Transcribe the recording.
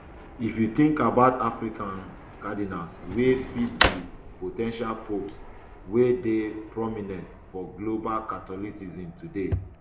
if you think about african um cardinals wey fit be po ten tial popes wey dey prominent for global catholicism today